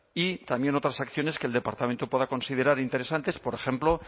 y también otras acciones que el departamento pueda considerar interesantes por ejemplo